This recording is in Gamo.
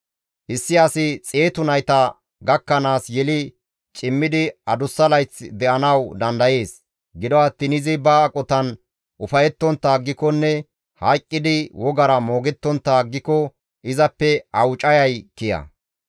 Issi asi xeetu nayta gakkanaas yeli cimmidi adussa layth de7anawu dandayees; gido attiin izi ba aqotan ufayettontta aggikonne hayqqidi wogara moogettontta aggiko izappe awucayay kiya.